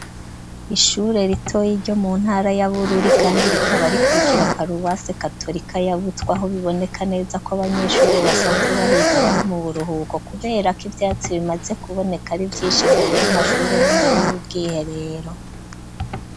Ishure ritoya ryo mu ntara ya Bururi kandi rikaba rikukira paruwasi katolika ya Butwe aho biboneka neza ko abanyeshure basanzwe bahiga bari mu buruhuko, kubera ko ivyatsi bimaze kuboneka ari vyishi mbere y'amashure n'imbere y'ubwiherero.